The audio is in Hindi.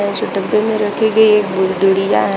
ये जो डब्बे में रखी गई एक गु गुड़िया है।